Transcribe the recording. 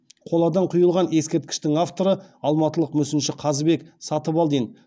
қоладан құйылған ескерткіштің авторы алматылық мүсінші қазыбек сатыбалдин